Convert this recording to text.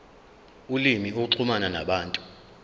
ulimi ukuxhumana nabantu